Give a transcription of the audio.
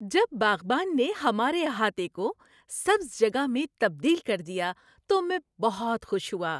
جب باغبان نے ہمارے احاطے کو سبز جگہ میں تبدیل کر دیا تو میں بہت خوش ہوا۔